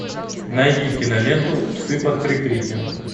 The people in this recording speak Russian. найди киноленту псы под прикрытием